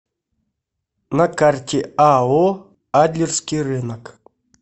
на карте ао адлерский рынок